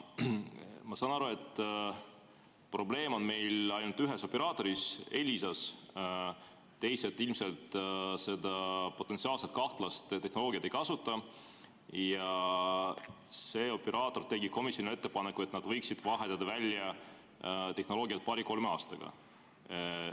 Ma saan aru, et probleem on meil ainult ühes operaatoris, Elisas, teised ilmselt seda potentsiaalselt kahtlast tehnoloogiat ei kasuta, ja see operaator tegi komisjonile ettepaneku, et nad võiksid vahetada tehnoloogia välja paari-kolme aastaga.